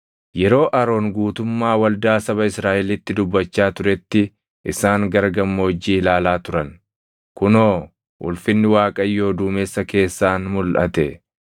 Yeroo Aroon guutummaa waldaa saba Israaʼelitti dubbachaa turetti isaan gara gammoojjii ilaalaa turan; kunoo, ulfinni Waaqayyoo duumessa keessaan mulʼate.